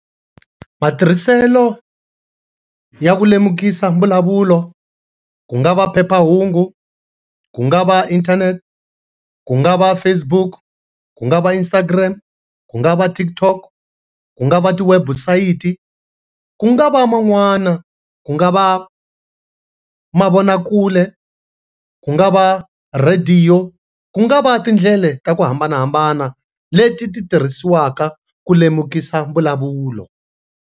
Matirhiselo ya ku lemukisa mbulavulo ku nga va phephahungu, ku nga va internet, ku nga va Facebook, ku nga va Instagram, ku nga va Tik tok, ku nga va ti website, ku nga va man'wana, ku nga va mavonakule, ku nga va radio ku nga va tindlela ta ku hambanahambana leti ti tirhisiwaka ku lemukisa mbulavulo.